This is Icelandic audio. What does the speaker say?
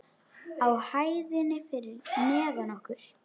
Á hæðinni fyrir neðan okkur.